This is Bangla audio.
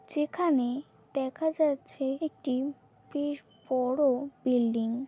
যেখানে দেখা যাচ্ছে একটি বেশ বড় বিল্ডিং ।